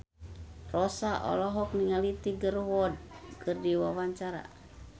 Rossa olohok ningali Tiger Wood keur diwawancara